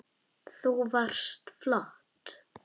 Þú varst flott